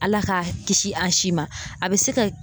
Ala ka kisi an si ma. A be se ka